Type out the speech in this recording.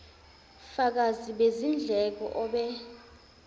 fakazi bezindleko obe